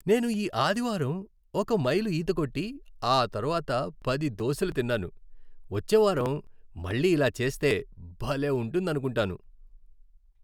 నేను ఈ ఆదివారం ఒక మైలు ఈత కొట్టి, ఆ తర్వాత పది దోసెలు తిన్నాను. వచ్చే వారం మళ్ళీ ఇలా చేస్తే భలే ఉంటుందనుకుంటాను.